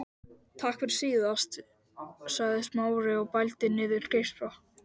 Takk fyrir síðast- sagði Smári og bældi niður geispa.